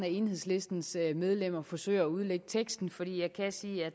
enhedslistens medlemmer forsøger at udlægge teksten for jeg kan sige at